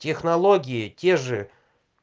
технологии те же